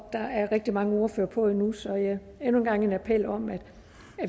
er rigtig mange ordførere på endnu så jeg har endnu en gang en appel om at